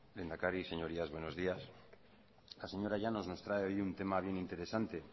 lehendakari señorías buenos días la señora llanos nos trae hoy un tema bien interesante